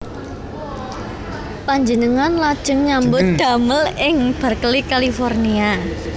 Panjenengan lajeng nyambut damel ing Berkeley California